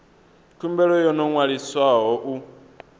khumbelo yo no ṅwaliswaho u